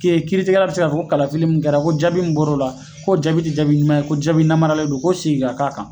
kiiritigɛla bi se ka fɔ ko kalafili mun kɛra ko jaabi mun bɔr'o la, ko jaabi ti jaabi ɲuman ye, ko jaabi namaralen don ko segin ka k'a kan.